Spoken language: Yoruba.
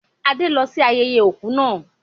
Adé lọ sí ayẹyẹ òkú náà